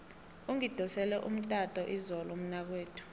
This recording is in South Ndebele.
ungidosele umtato izolo umnakwethu